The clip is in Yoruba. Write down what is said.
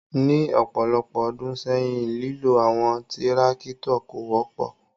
Ni ọpọlọpọ ọdun sẹyin, lilo awọn tirakitọ ko wọpọ